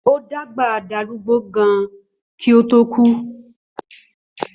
Ó dàgbà darúgbó gan kí ó to kù